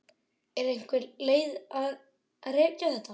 Er einhver leið að rekja þetta?